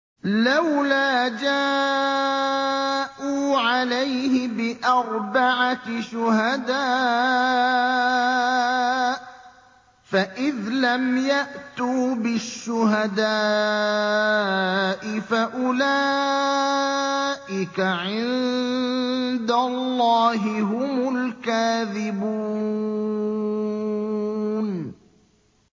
لَّوْلَا جَاءُوا عَلَيْهِ بِأَرْبَعَةِ شُهَدَاءَ ۚ فَإِذْ لَمْ يَأْتُوا بِالشُّهَدَاءِ فَأُولَٰئِكَ عِندَ اللَّهِ هُمُ الْكَاذِبُونَ